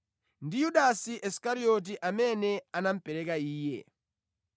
ndi Yudasi Isikarioti, amene anamupereka Iye.